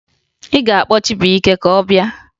Ị ga-akpọ Chibuike ka ọ bịa!